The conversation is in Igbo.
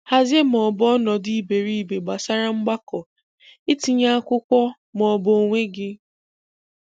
Hazie ma ọ bụ ọnọdụ iberibe gbasara mgbakọ, itinye akwụkwọ ma ọ bụ onwe gị